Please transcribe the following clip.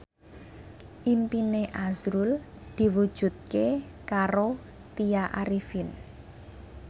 impine azrul diwujudke karo Tya Arifin